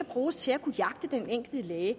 bruges til at jagte den enkelte læge